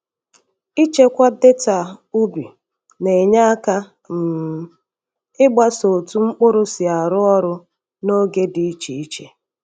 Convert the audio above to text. Ịchekwa data ubi na-enye aka um ịgbaso otu mkpụrụ si arụ ọrụ n’oge dị iche iche.